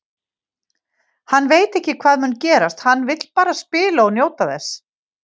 Hann veit ekki hvað mun gerast, hann vill bara spila og njóta þess.